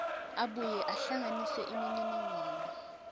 abuye ahlanganise imininingwane